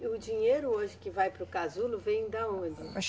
E o dinheiro hoje que vai paro casulo vem da onde?